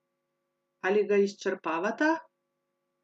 Ali ga izčrpavata?